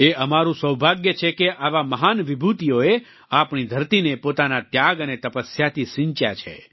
એ અમારું સૌભાગ્ય છે કે આવા મહાન વિભૂતિઓએ આપણી ધરતીને પોતાના ત્યાગ અને તપસ્યાથી સિંચ્યા છે